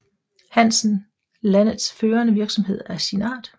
Hansen landets førende virksomhed af sin art